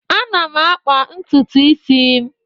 Ana m akpa ntutu isi m.